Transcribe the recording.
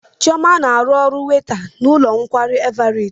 Chioma na-arụ ọrụ weyta n'ụlọ nkwari Everet.